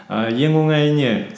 ііі ең оңайы не